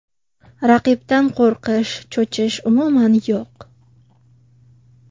Raqibdan qo‘rqish, cho‘chish umuman yo‘q.